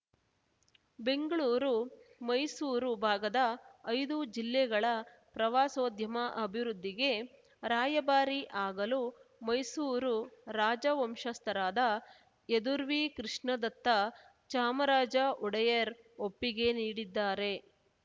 ಬೆಂಗಳೂರು ಮೈಸೂರು ಭಾಗದ ಐದು ಜಿಲ್ಲೆಗಳ ಪ್ರವಾಸೋದ್ಯಮ ಅಭಿವೃದ್ಧಿಗೆ ರಾಯಭಾರಿ ಆಗಲು ಮೈಸೂರು ರಾಜ ವಂಶಜಸ್ಥರಾದ ಯದುರ್ವೀ ಕೃಷ್ಣದತ್ತ ಚಾಮರಾಜ ಒಡೆಯರ್‌ ಒಪ್ಪಿಗೆ ನೀಡಿದ್ದಾರೆ